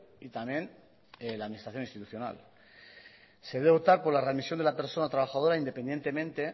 y también la administración institucional se debe optar por la readmisión de la persona trabajadora independientemente